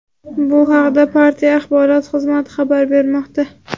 Bu haqda partiya Axborot xizmati xabar bermoqda.